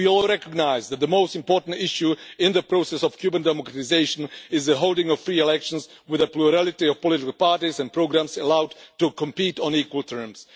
We also recognise that the most important issue in the process of Cuban democratisation is the holding of free elections with a plurality of political parties and programmes allowed to compete on equal terms.